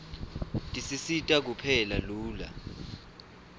tisisita kupheka lula